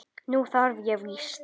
Nú þarf ég víst.